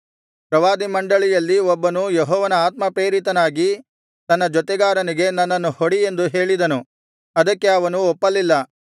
ಪ್ರವಾದಿಮಂಡಳಿಯಲ್ಲಿ ಒಬ್ಬನು ಯೆಹೋವನ ಆತ್ಮ ಪ್ರೇರಿತನಾಗಿ ತನ್ನ ಜೊತೆಗಾರನಿಗೆ ನನ್ನನ್ನು ಹೊಡಿ ಎಂದು ಹೇಳಿದನು ಅದಕ್ಕೆ ಅವನು ಒಪ್ಪಲಿಲ್ಲ